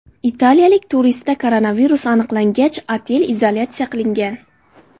Italiyalik turistda koronavirus aniqlangach, otel izolyatsiya qilingan.